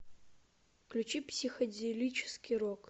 включи психоделический рок